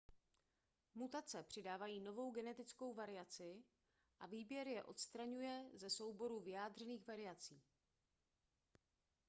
mutace přidávají novou genetickou variaci a výběr je odstraňuje ze souboru vyjádřených variací